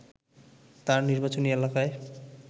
তার নির্বাচনী এলাকায়